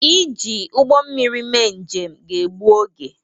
Iji ụgbọ mmiri mee njem ga-gbu oge.